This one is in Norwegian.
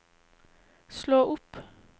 slå opp